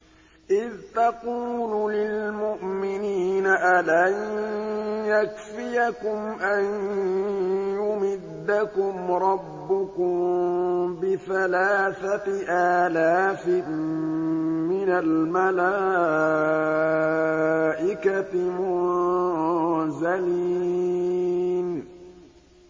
إِذْ تَقُولُ لِلْمُؤْمِنِينَ أَلَن يَكْفِيَكُمْ أَن يُمِدَّكُمْ رَبُّكُم بِثَلَاثَةِ آلَافٍ مِّنَ الْمَلَائِكَةِ مُنزَلِينَ